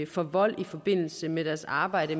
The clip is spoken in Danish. for vold i forbindelse med deres arbejde